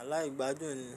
Aláìgbádùn ni.